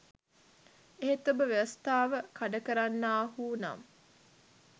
එහෙත් ඔබ ව්‍යවස්ථාව කඩ කරන්නාහු නම්